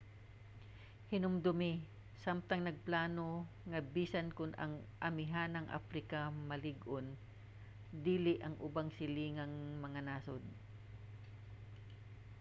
hinumdumi samtang nagplano nga bisan kon ang amihanang africa malig-on dili ang ubang silingang mga nasod